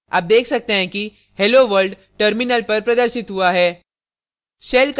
आप देख सकते हैं कि hello world terminal पर प्रदर्शित हुआ है